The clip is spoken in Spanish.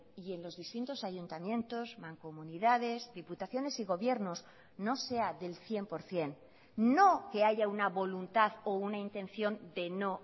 y en los distintos ayuntamientos mancomunidades diputaciones y gobiernos no sea del cien por ciento no que haya una voluntad o una intención de no